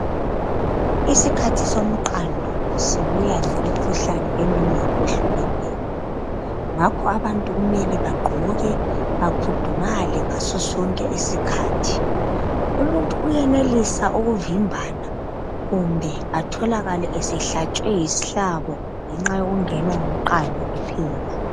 Isikhathi somqando sibuya lemikhuhlane eminengi eyehlukeneyo ngakho abantu kumele bagqoke bakhudumale ngaso sonke isikhathi umuntu uyenelisa ukuvimbana Kumbe atholakale esehlatshwe yisihlabo ngenxa yokungenwa ngumqando kuphela